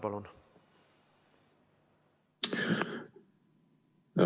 Palun!